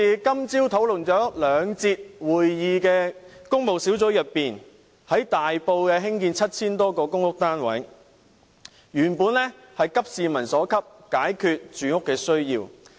今早兩節的工務小組委員會會議討論在大埔興建 7,000 多個公屋單位，原本是急市民所急，解決住屋需要。